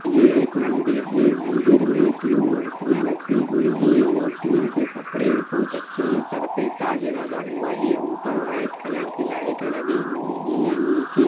यह एक मंदिर है मंदिर में तीन मूर्तियां रखी हुई है मूर्तियों के कपड़े बहुत अच्छे हैं सर पे ताज लगा हुआ है ऊपर व्हाइट कलर की लाइटें लगी हुई है नीचे--